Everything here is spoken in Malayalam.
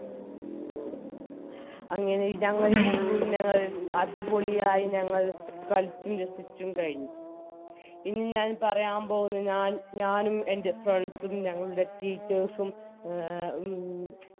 അങ്ങനെ ഞങ്ങളീ tour ഞങ്ങൾ അടിപൊളിയായി ഞങ്ങൾ കളിച്ചും രസിച്ചും കഴിഞ്ഞു ഇനി ഞാൻ പറയാൻ പോകുന്നത് ഞാനും എൻറെ friends ഉം ഞങ്ങളുടെ teachers ഉം എ മ്